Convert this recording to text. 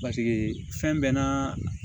Paseke fɛn bɛɛ n'a